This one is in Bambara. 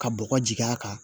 Ka bɔgɔ jigi a kan